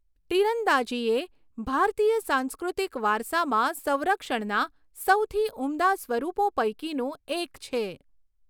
તીરંદાજી એ ભારતીય સાંસ્કૃતિક વારસામાં સંરક્ષણના સૌથી ઉમદા સ્વરૂપો પૈકીનું એક છે.